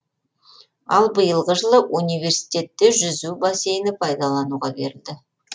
ал биылғы жылы университетте жүзу бассейні пайдалануға берілді